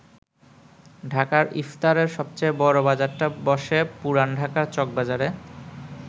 ঢাকার ইফতারের সবচেয়ে বড় বাজারটা বসে পুরান ঢাকার চকবাজারে।